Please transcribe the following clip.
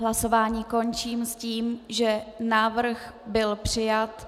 Hlasování končím s tím, že návrh byl přijat.